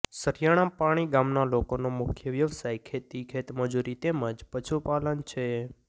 સરીયાપાણી ગામના લોકોનો મુખ્ય વ્યવસાય ખેતી ખેતમજૂરી તેમ જ પશુપાલન છે